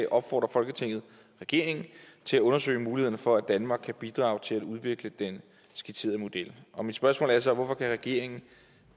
opfordrer folketinget regeringen til at undersøge mulighederne for at danmark kan bidrage til at udvikle den skitserede model mit spørgsmål er så hvorfor kan regeringen